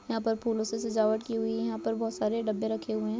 यहाँ पर फूलो से सजावट की हुई हैं यहाँ पर बहुत सारे डब्बे रखे हुए हैं।